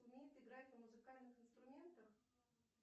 умеет играть на музыкальных инструментах